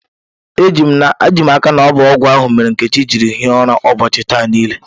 Ejim aka na ọbụ ọgwụ ahụ mere Nkechi jiri hie ụra ụbọọchi taa nile.